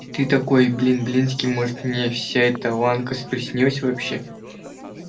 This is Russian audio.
и ты такой блин блинский может мне вся эта ланка приснилась вообще